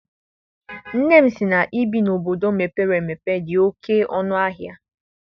Nne m sị na ibi na obodo mepere emepe dị oké ọnụ ahịa.